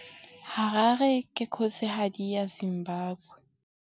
Harare ke kgosigadi ya Zimbabwe.